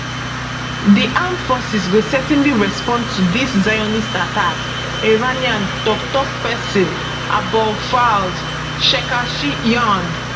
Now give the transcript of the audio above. di armed forces go certainly respond to dis zionist attack iranian toktok pesin abolfazl shekarchi yarn